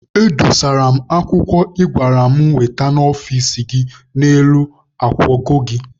Edosara m akwụkwọ ị gwara m wete n'ọfici gị n'elu nkwago gị.